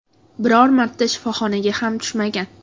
Biror marta shifoxonaga ham tushmagan.